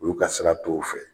Olu ka sira t'o fɛ.